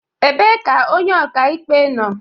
Ebee ka onye ọka ikpe nọ?